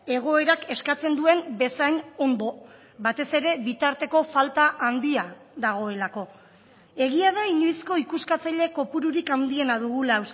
egoerak eskatzen duen bezain ondo batez ere bitarteko falta handia dagoelako egia da inoizko ikuskatzaile kopururik handiena dugula